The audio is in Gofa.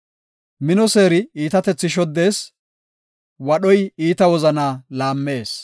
Mino seeri iitatethi shoddees; wadhoy iita wozana laammees.